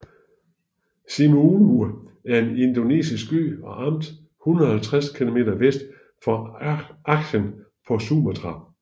Simeulue er en indonesisk ø og amt 150 km vest for Aceh på Sumatra